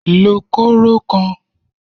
Lo kóró kan!